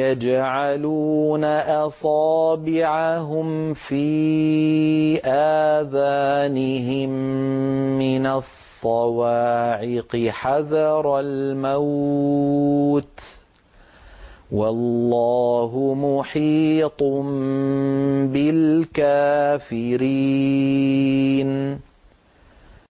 يَجْعَلُونَ أَصَابِعَهُمْ فِي آذَانِهِم مِّنَ الصَّوَاعِقِ حَذَرَ الْمَوْتِ ۚ وَاللَّهُ مُحِيطٌ بِالْكَافِرِينَ